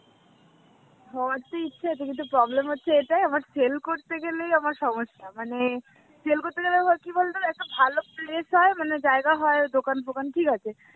হওয়ার তো ইচ্ছা আছে কিন্তু problem হচ্ছে এটাই আমার sell করতে গেলেই আমার সমস্যা. মানে sell করতে গেলে হয় কি বলতো একতো ভাল place হয় মানে জায়গা হয় দোকান ফোকান ঠিক আছে